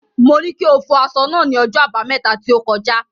Mo ní kí o fọ aṣọ náà ní ọjọ́ Àbámẹ́ta tí ó kọjá.